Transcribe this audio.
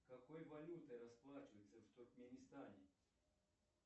какой валютой расплачиваются в туркменистане